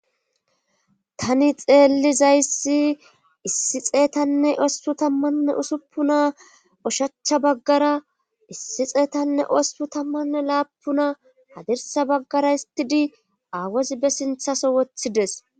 tani xeellizayssi issi xeetanne osppu tammanne usuppuna ushachcha baggara issi xeetanne ospu tammanne laapuna hadirsa baggara istidi aawozi be sinthaso wothides